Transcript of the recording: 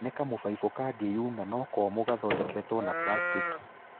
Nĩ kamũbaibũ kangĩyuna no komũ gathondeketwo na prastĩki.